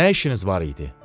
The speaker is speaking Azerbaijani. Nə işiniz var idi?